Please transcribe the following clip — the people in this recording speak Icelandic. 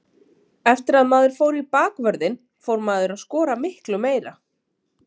Eftir að maður fór í bakvörðinn fór maður að skora miklu meira.